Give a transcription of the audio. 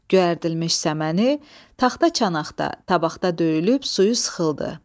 Göyərdilmiş səməni taxta çanaqda, tavaqta döyülüb suyu sıxıldı.